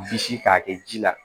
Bisi k'a kɛ ji la